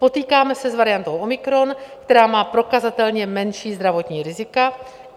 Potýkáme se s variantou omikron, která má prokazatelně menší zdravotní rizika.